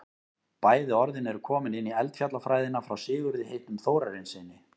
bæði orðin eru komin inn í eldfjallafræðina frá sigurði heitnum þórarinssyni